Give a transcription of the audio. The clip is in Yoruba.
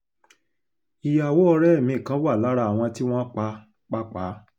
ìyàwó ọ̀rẹ́ mi kan wà lára àwọn tí wọ́n pa pàápàá